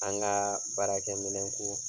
An ga baarakɛ minɛnko